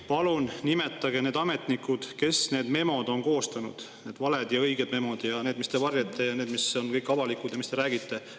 Palun nimetage need ametnikud, kes need memod on koostanud: need valed ja õiged memod, need, mida te varjate, ja need, mis on kõik avalikud ja millest te räägite.